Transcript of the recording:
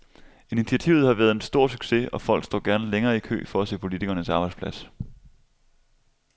Initiativet har været en stor succes, og folk står gerne længe i kø for at se politikernes arbejdsplads.